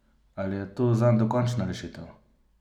Ali je to zanj dokončna rešitev?